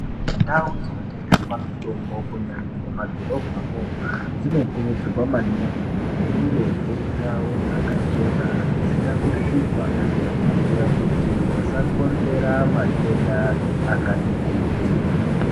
Ndau dzinotengeswa mutombo kunyanya mumadhorobhamwo dzinokurudzirwa maningi kuti dzinge dziri ndau dzakachena dzisina kusvipa kuitire kuti dzisakonzera matenda akati kuti.